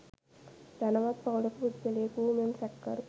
ධනවත් පවුලක පුද්ගලයකු වූ මෙම සැකකරු